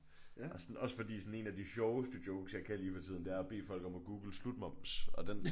Og sådan også fordi sådan en af de sjoveste jokes jeg kan lige for tiden det er at bede folk om at google slutmoms og den